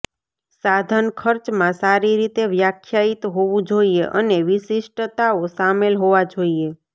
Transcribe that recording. સાધન ખર્ચમાં સારી રીતે વ્યાખ્યાયિત હોવું જોઈએ અને વિશિષ્ટતાઓ શામેલ હોવા જોઈએ